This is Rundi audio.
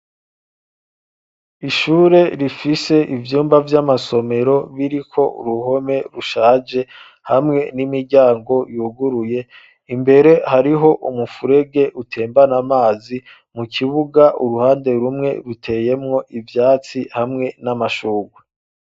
Ishure rifise ivyumba vy'amasomero biriko uruhome rushaje hamwe n'imiryango yuguruye imbere hariho umufurege utembana amazi mu kibuga uruhande rumwe ruteyemwo ivyatsi hamwe n'amashurwe.